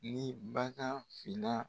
Ni bagan fila.